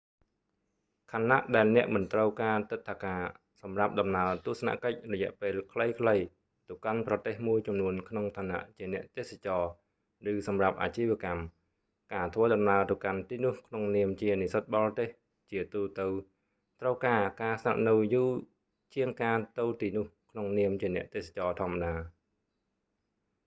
ខណៈដែលអ្នកមិនត្រូវការទិដ្ឋាការសម្រាប់ដំណើរទស្សនកិច្ចរយៈពេលខ្លីៗទៅកាន់ប្រទេសមួយចំនួនក្នុងឋានៈជាអ្នកទេសចរឬសម្រាប់អាជីវកម្ម ការធ្វើដំណើរទៅកាន់ទីនោះក្នុងនាមជានិស្សិតបរទេស ជាទូទៅត្រូវការការស្នាក់នៅយូរជាងការទៅទីនោះក្នុងនាមជាអ្នកទេសចរធម្មតា